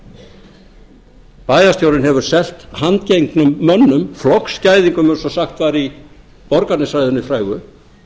ef bæjarstjórinn hefur selt handgengnum mönnum flokksgæðingum eins og sagt var í borgarnesræðunni frægu